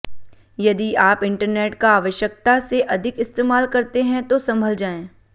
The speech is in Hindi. यदि आप इन्टरनेट का आवश्यकता से अधिक इस्तेमाल करते हैं तो संभल जाएं